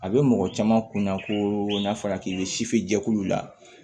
A bɛ mɔgɔ caman kun na ko n'a fɔra k'i ye sifin jɛkulu la